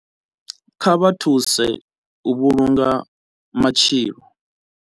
Kha vha thuse u vhulunga matshilo.